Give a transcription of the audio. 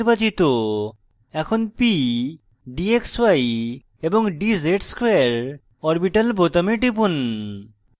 এখন p d xy and dz ^ 2 orbital বোতামে টিপুন